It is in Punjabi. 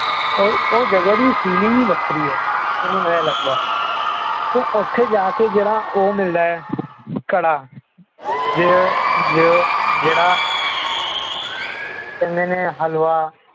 ਉਹ ਜਗਾ ਦੀ feeling ਹੀ ਵਖਰੀ ਹੈ ਓਦੋਂ ਐ ਲਗਦਾ ਉੱਥੇ ਜਾ ਕੇ ਓਹੋ ਮਿਲਦੀ ਹੈ ਜਿਹੜਾ ਕੜਾ ਜੋ ਜੋ ਜਿਹੜਾ ਕਹਿੰਦੇ ਨੇ ਹਲਵਾ